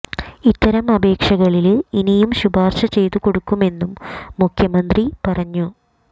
ഇത്തരം അപേക്ഷകളില് ഇനിയും ശുപാര്ശ ചെയ്തു കൊടുക്കുമെന്നും മുഖ്യമന്ത്രി പറഞ്ഞു